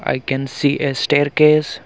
i can see a staircase.